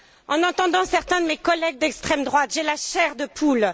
En entendant certains de mes collègues d'extrême droite, j'ai la chair de poule.